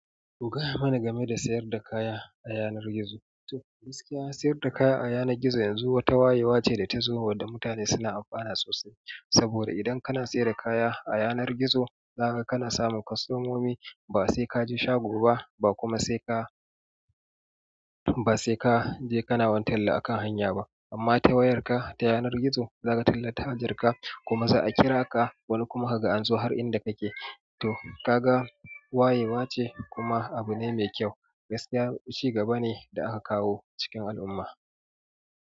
Ku gaya mana game da sayar da kaya a yanar gizo. To gaskiya sayar da kaya a yanar gizo yanzu wata wayewa ce da ta zo wadda mutane suna amfana sosai. Saboda idan kana sai da kaya a yanar gizo, zaka kana samu kwastomomi ba sai kaje shago ba, ba kuma sai ka, ba sai ka je kana wani talla akan hanya ba. Amma ta wayarka ta yanar gizo, zaka tallata hajarka kuma za a kira ka wani kuma ka ga anzo har inda kake. To, kaga wayewa ce kuma abu ne mai kyau. Gaskiya ci gaba ne da aka kawo cikin al'umma.